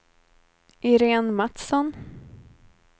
Irene Matsson